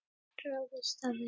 Ráðist á vef sænska saksóknarans